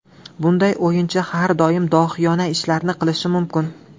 Bunday o‘yinchi har doim dohiyona ishlarni qilishi mumkin.